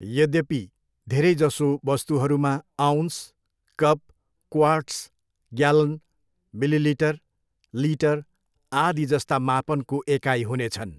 यद्यपि, धेरैजसो वस्तुहरूमा ounce, cup, quarts, gallon, millilitre, litre, आदि जस्ता मापनको एकाइ हुनेछन्।